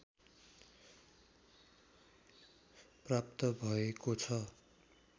प्राप्त भएको छ